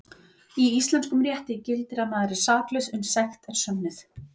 Í íslenskum rétti gildir að maður er saklaus uns sekt er sönnuð.